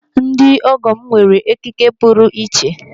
Ndị ọgọ m nwere ekike puru iche.